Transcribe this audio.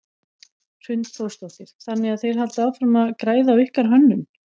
Hrund Þórsdóttir: Þannig að þeir halda áfram að græða á ykkar hönnun?